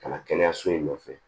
Ka na kɛnɛyaso in nɔfɛ